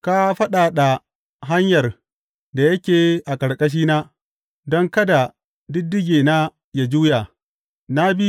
Ka fadada hanyar da yake a ƙarƙashina, don kada ɗiɗɗigena yă juya.